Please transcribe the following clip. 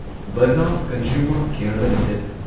Bajaj consumer care limited